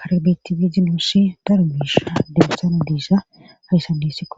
karbeti biizinoosi daro beesha debessana deesa hayssan dessikko